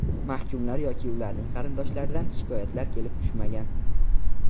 Mahkumlar yoki ularning qarindoshlaridan shikoyatlar kelib tushmagan.